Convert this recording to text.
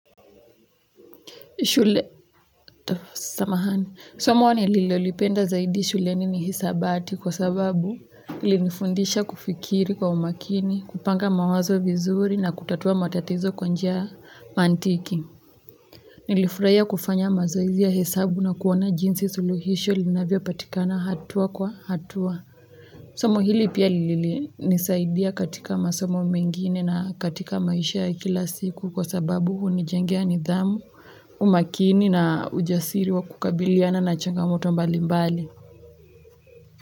Shule, samahani, somo nililolipenda zaidi shuleni ni hisabati kwa sababu ilinifundisha kufikiri kwa umakini, kupanga mawazo vizuri na kutatua matatizo kwa njia ya mantiki. Nilifuraia kufanya mazoezi ya hesabu na kuona jinsi suluhisho linavyopatikana hatua kwa hatua. Somo hili pia lilinisaidia katika masomo mengine na katika maisha ya kila siku kwa sababu hunijengea nidhamu umakini na ujasiri wa kukabiliana na changamoto mbalimbali.